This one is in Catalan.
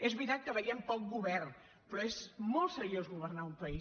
és veritat que veiem poc govern però és molt seriós governar un país